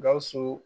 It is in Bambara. Gawusu